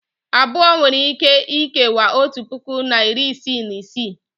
abụọ nwere ike ikewaa otu puku na iri isii na isii